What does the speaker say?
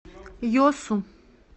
йосу